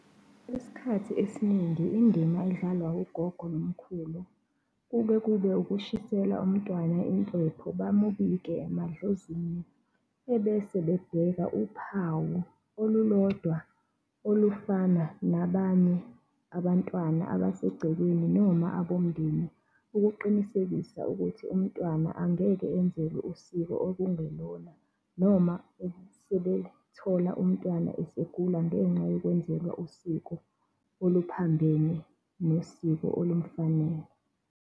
Isikhathi esiningi indima edlalwa ugogo nomkhulu, kube kube ukushisela umntwana impepho, bamubike emadlozini, ebese bebheka uphawu olulodwa olufana nabanye abantwana abasegcekeni noma abomndeni, ukuqinisekisa ukuthi umntwana angeke enzelwe usiko okungelona noma sebezithola umntwana esegula ngenxa yokwenzelwa usiko oluphambene nesiko olumfunayo.